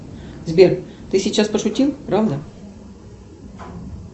сбер ты сейчас пошутил правда